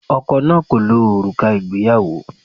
Ọkọ náà kò lo òrùka ìgbéyàwó.